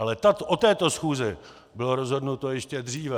Ale o této schůzi bylo rozhodnuto ještě dříve.